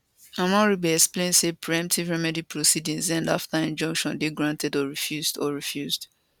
omorogbe explain say preemptive remedy proceedings end afta injunction dey granted or refused or refused